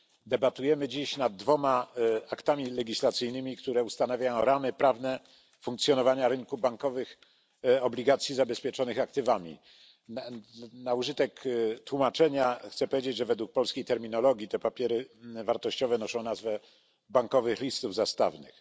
Debatujemy dziś nad dwoma aktami legislacyjnymi, które ustanawiają ramy prawne funkcjonowania rynku bankowych obligacji zabezpieczonych aktywami. Na użytek tłumaczenia chcę powiedzieć, że według polskiej terminologii te papiery wartościowe noszą nazwę bankowych listów zastawnych.